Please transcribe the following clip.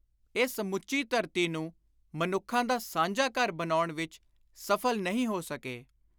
ਇਹ ਸਮੁੱਚੀ ਧਰਤੀ ਨੂੰ ਮਨੁੱਖਾਂ ਦਾ ਸਾਂਝਾ ਘਰ ਬਣਾਉਣ ਵਿਚ ਸਫਲ ਨਹੀਂ ਹੋ ਸਕੇ।